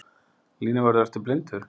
Línuvörður ertu blindur?